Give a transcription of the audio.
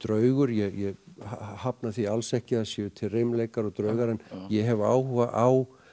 draugur ég hafna því alls ekki að það séu til reimleikar og draugar en ég hef áhuga á